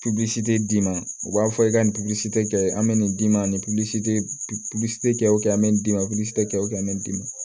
tɛ d'i ma u b'a fɔ i ka nin tɛ kɛ an bɛ nin d'i ma ni tɛ wusu o kɛ an bɛ d'i ma kɛ o bɛ n'i ma